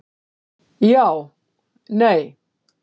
Já Nei